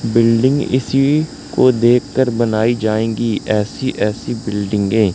building इसी को देखकर बनाई जाएगी ऐसी ऐसी बिल्डिंगे --